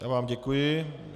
Já vám děkuji.